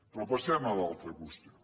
però passem a l’altra qüestió